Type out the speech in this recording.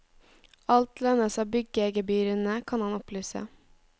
Alt lønnes av byggegebyrene, kan han opplyse.